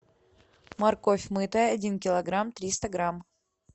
морковь мытая один килограмм триста грамм